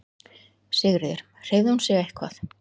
Sigríður: Hreyfði hún sig eitthvað?